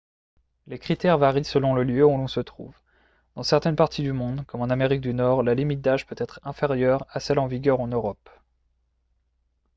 les critères varient selon le lieu où l'on se trouve dans certaines parties du monde comme en amérique du nord la limite d'âge peut être inférieure à celle en vigueur en europe